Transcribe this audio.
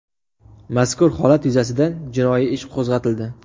Mazkur holat yuzasidan jinoiy ish qo‘zg‘atildi.